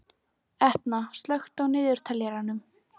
Etna, slökktu á niðurteljaranum.